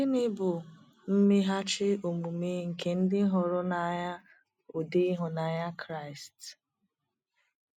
Gịnị bụ mmeghachi omume nke ndị hụrụ n'anya ụdị ịhụnanya Kraịst?